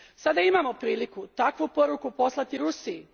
Sada imamo priliku takvu poruku poslati Rusiji.